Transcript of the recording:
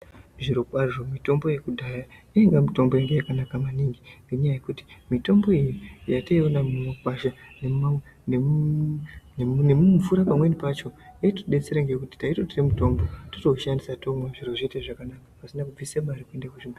Zviro kwazvo mitombo yekudhaya yainga mitombo yainga yakanaka maningi ngenyaya yekuti mitombo iyi yataiona mumakwasha nemumvura pamweni pacho yaitidetsera ngekuti taitorwe mitombo totoushandisa tomwa zviro zvotoite zvakanaka pasina kubvise mare.